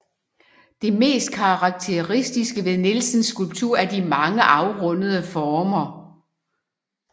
Det mest karakteristiske ved Nielsens skulptur er de mange afrundede former